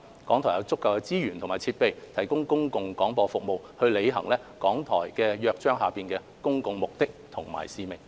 港台有足夠的資源及設備提供公共廣播服務，履行《香港電台約章》下的公共目的及使命。